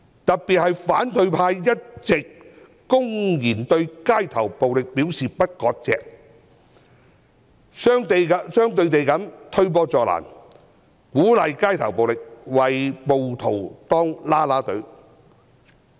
特別是反對派一直公然表示對街頭暴力不割席，這是推波助瀾，鼓勵街頭暴力，為暴徒當"啦啦隊"。